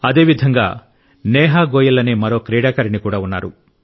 అదేవిధంగా నేహా గోయల్ అనే మరో క్రీడాకారిణి కూడా ఉన్నారు